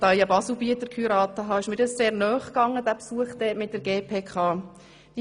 Da ich mit einem Baselbieter verheiratet bin, ging mir dieser Besuch mit der GPK damals sehr nahe.